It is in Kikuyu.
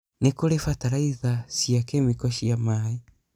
Nĩ kũrĩ bataraiza cia kemiko cia maĩ.